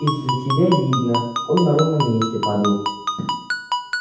из за тебя видно он на ровном месте падал